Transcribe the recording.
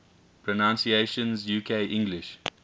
pronunciations uk english